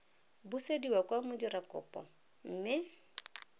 busediwa kwa go modirakopo mme